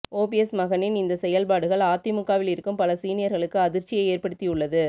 OPS மகனின் இந்த செயல்பாடுகள் அதிமுகவில் இருக்கும் பல சீனியர்களுக்கு அதிர்ச்சியை ஏற்படுத்தியுள்ளது